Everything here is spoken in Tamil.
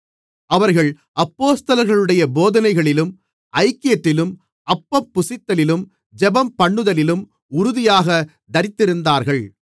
அவர்கள் அப்போஸ்தலர்களுடைய போதனைகளிலும் ஐக்கியத்திலும் அப்பம் புசித்தலிலும் ஜெபம்பண்ணுதலிலும் உறுதியாகத் தரித்திருந்தார்கள்